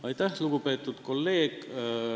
Aitäh, lugupeetud kolleeg!